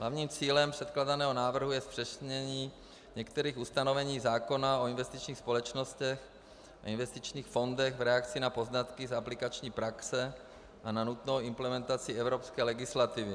Hlavním cílem předkládaného návrhu je zpřesnění některých ustanovení zákona o investičních společnostech a investičních fondech v reakci na poznatky z aplikační praxe a na nutnou implementaci evropské legislativy.